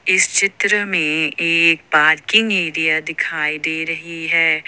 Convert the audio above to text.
इस चित्र में एक चित्र में एक पार्किंग एरिया दिखाई दे रही है।